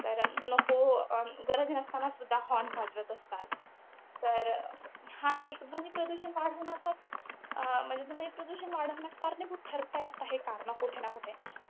तर नको, गरज नसतांना सुद्धा horn वाजवत असतात. तर हा एक ध्वनिप्रदूषण वाढवण्याचाच अं म्हणजे, ध्वनिप्रदूषण वाढवण्यास कारणीभूत ठरतायत हे कारणं, कुठे न कुठे.